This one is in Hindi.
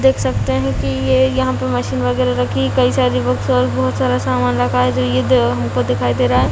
देख सकते है कि ये यहाँ पे मशीन वगेरा रखी है कई सारी बुक्स और बहुत सारा सामान रखा है जो ये द हमको दिखाई दे रहा है।